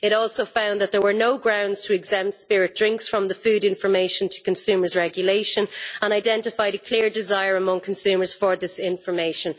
It also found that there were no grounds to exempt spirit drinks from the Food Information to Consumers Regulation and identified a clear desire among consumers for this information.